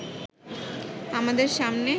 আমাদের সামনে